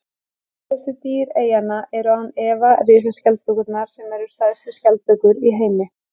frægustu dýr eyjanna eru án efa risaskjaldbökurnar sem eru stærstu skjaldbökur í heimi